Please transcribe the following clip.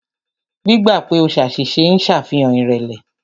Gbígbà pè o ṣàṣìṣe ń ṣàfihàn ìrẹ̀lẹ̀.